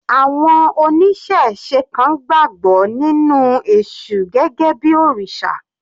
Àwọn oníṣẹ̀se kan gbàgbọ́ nínú èṣù gẹ́gẹ́ bí òrìṣà.